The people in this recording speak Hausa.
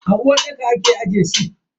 A uwarɗaka ake aje sif.